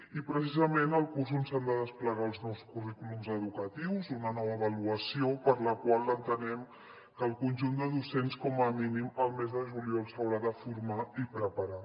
i precisament el curs on s’han de desplegar els nous currículums educatius una nova avaluació per a la qual entenem que el conjunt de docents com a mínim el mes de juliol s’haurà de formar i preparar